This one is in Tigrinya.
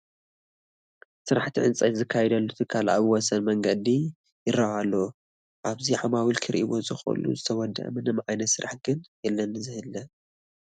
ስራሕቲ ዕንጨይቲ ዝካየደሉ ትካል ኣብ ወሰን መንገዲ ይርአ ኣሎ፡፡ ኣብዚ ዓማዊል ክርእይዎ ዝኽእሉ ዝተወድአ ምንም ዓይነት ስራሕ ግን የለን ዝኒሀ፡፡